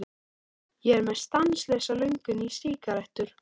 Ég er með stanslausa löngun í sígarettur.